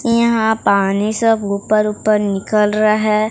यहां पानी सब ऊपर ऊपर निकल रहा है।